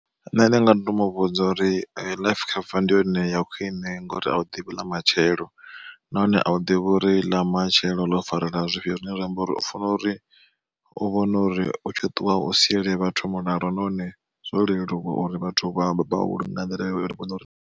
Nṋe ndi nga to mu vhudza uri life cover ndi yone ya khwine ngori a u ḓivhi ḽa matshelo, nahone a u ḓivhi uri ḽa matshelo ḽo ri farela zwifhio zwine zwa amba uri u fanela uri u vhone uri utshi ṱuwa u siyele vhathu mulalo nahone zwo leluwa uri vhathu vha vhalunge nga nḓila ine ri vhone uri.